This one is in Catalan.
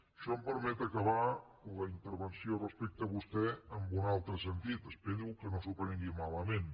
això em permet acabar la intervenció respecte a vostè amb un altre sentit espero que no s’ho prengui malament